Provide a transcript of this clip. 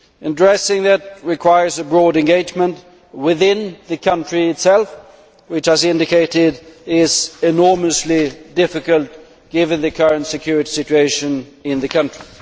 Addressing that requires a broad engagement within the country itself which, as indicated, is enormously difficult given the current security situation in the country.